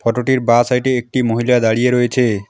অটোটির বা সাইডে একটি মহিলা দাঁড়িয়ে রয়েছে।